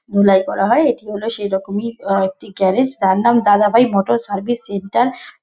ধুলাই করা হয়। এটি হলো সেই রকমরই অ একটা গ্যারেজ । তার নাম Dada Bhai motor service centre.